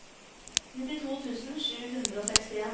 nittito tusen sju hundre og sekstien